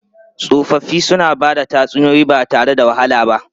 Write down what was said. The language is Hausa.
Tsofaffi suna ba da tatsuniyoyi ba tare da wahala ba.